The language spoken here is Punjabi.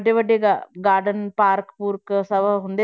ਵੱਡੇ ਵੱਡੇ ਗਾ~ garden park ਪੂਰਕ ਸਭ